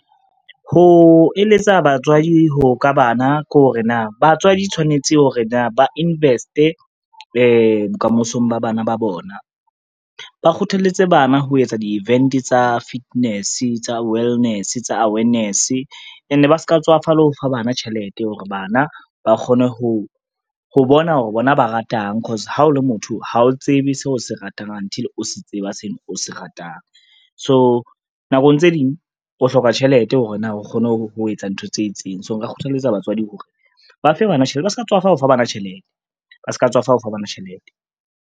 Ho eletsa batswadi ka bana kore na, batswadi tshwanetse hore na ba invest-e bokamosong ba bana ba bona. Ba kgothaletse bana ho etsa di-event tsa fitness, tsa wellness, tsa awareness ene ba ska tswafa le ho fa bana tjhelete hore bana ba kgone ho bona hore bona ba ratang cause ha o le motho, ha o tsebe seo o se ratang until o se tseba seo o se ratang. So nakong tse ding o hloka tjhelete hore na o kgone ho etsa ntho tse itseng, so nka kgothaletsa batswadi hore ba fe bana tjhelete ba ska tswafa ho fa bana tjhelete, ba ska tswafa ho fa bana tjhelete.